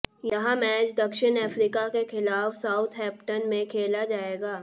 यह मैच दक्षिण अफ्रीका के खिलाफ साउथहैंप्टन में खेला जाएगा